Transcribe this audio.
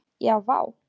Já vá!